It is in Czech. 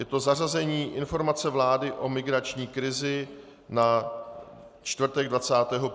Je to zařazení Informace vlády o migrační krizi na čtvrtek 21. ledna v 11 hodin.